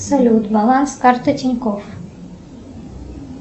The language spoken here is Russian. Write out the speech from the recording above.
салют баланс карты тинькофф